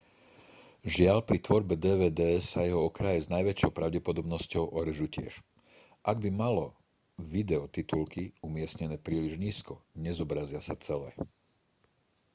žiaľ pri tvorbe dvd sa jeho okraje s najväčšou pravdepodobnosťou orežú tiež ak by malo video titulky umiestnené príliš nízko nezobrazia sa celé